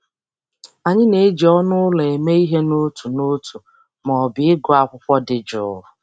Anyị na-eji ọnụ ụlọ eme ihe n'otu n'otu ma ọ bụ ịgụ akwụkwọ dị jụụ.